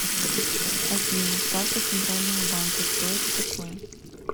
афина ставка центрального банка что это такое